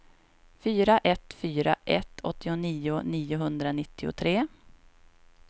fyra ett fyra ett åttionio niohundranittiotre